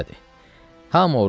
Hamı orucdur.